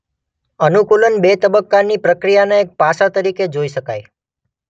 અનુકૂલન બે તબક્કાની પ્રક્રિયાના એક પાસા તરીકે જોઈ શકાય.